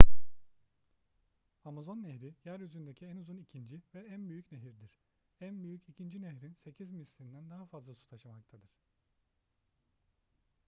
amazon nehri yeryüzündeki en uzun ikinci ve en büyük nehirdir en büyük ikinci nehrin 8 mislinden daha fazla su taşımaktadır